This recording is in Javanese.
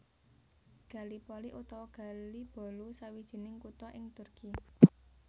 Gallipoli utawa Gelibolu sawijining kutha ing Turki